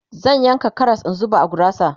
zan yanka Karas in zuba a gurasa